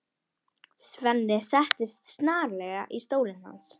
Svenni settist snarlega í stólinn hans.